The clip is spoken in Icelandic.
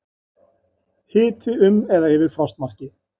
Hiti um eða rétt yfir frostmarki